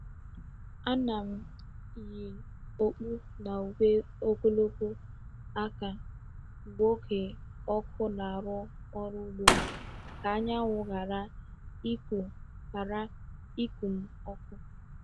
Ana m yi okpu na uwe ogologo aka mgbe oge ọkụ na-arụ ọrụ ugbo ka anyanwụ ghara ịkụ ghara ịkụ m ọkụ.